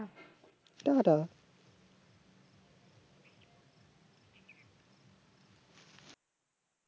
Tata